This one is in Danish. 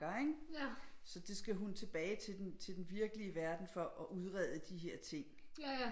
Ikke så det skal hun tilbage til den til den virkelige verden for at udrede de her ting